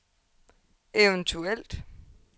eventuelt